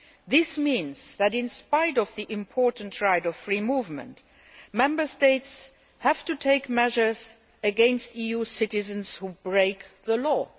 This means that, in spite of the important right of free movement, Member States have to take measures against EU citizens who break the law.